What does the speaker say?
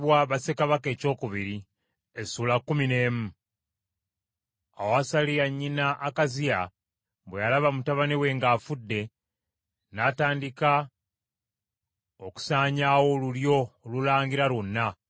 Awo Asaliya nnyina Akaziya bwe yalaba mutabani we ng’afudde, n’atandika okusaanyaawo olulyo olulangira lwonna.